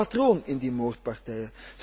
Er zit een patroon in die moordpartijen.